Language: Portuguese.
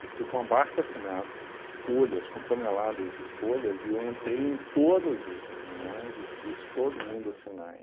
Eu fui com abaixo assinado, com folhas, com toneladas de folhas, e eu entrei em todas as reuniões e fiz todo mundo assinar.